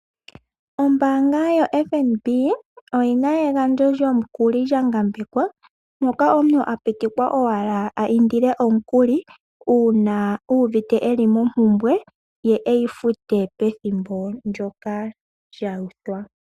Ombaanga yoFNB oyi na egandjo lyomukuli lyangambekwa moka omuntu a pitikwa owala iindile omukuli uuna uuvite e li mompumbwe ye e yi fute pethimbo ndyoka lya uthwa.